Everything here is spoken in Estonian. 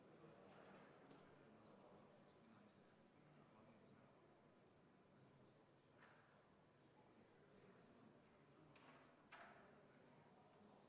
Kuulutan hääletamise Riigikogu aseesimeeste erakorralistel valimistel lõppenuks.